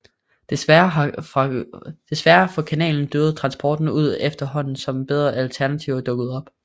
Desværre for kanalen døde transporten ud efterhånden som bedre alternativer dukkede op